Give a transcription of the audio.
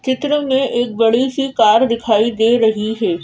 चित्र में एक बड़ी सी कार दिखाई दे रही है।